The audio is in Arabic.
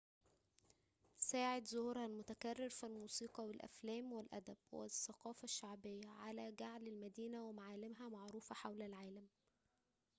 ساعد ظهورها المتكرر في الموسيقى والأفلام والأدب والثقافة الشعبية على جعل المدينة ومعالمها معروفة حول العالم